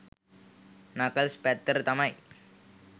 Knuckles පැත්තට තමයි.